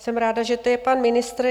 Jsem ráda, že tu je pan ministr.